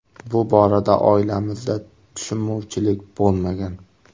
– Bu borada oilamizda tushunmovchilik bo‘lmagan.